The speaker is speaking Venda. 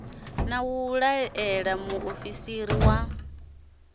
na u laela muofisi wa